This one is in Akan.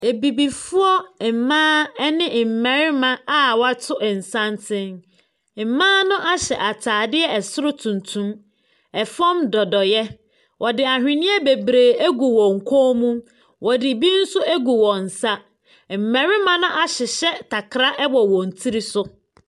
Abibifoɔ mmaa ne mmɛrima wato santene. Mmaa no ahyɛ ataade ɛsoro tuntum. Ɛfam dodoeɛ. Wɔde ahweneɛ beberee egu wɔn kɔn mu. Wɔde bi nso egu wɔn nsa. Mmɛrima no ahyehyɛ takra ɛwɔ wɔn tiri so.